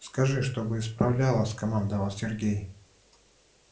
скажи чтобы исправляла скомандовал сергей